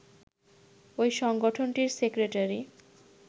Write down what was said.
ওই সংগঠনটির সেক্রেটারি